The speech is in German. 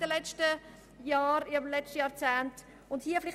Wir haben diese Steuern im letzten Jahrzehnt gesenkt.